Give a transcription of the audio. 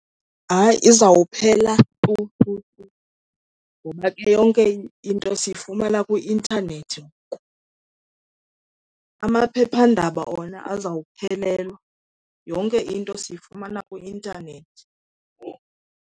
Hayi, izawuphela tu tu tu, ngoba ke yonke into siyifumana kwi-intanethi ngoku. Amaphephandaba wona azawuphelelwa, yonke into siyifumana kwi-intanethi.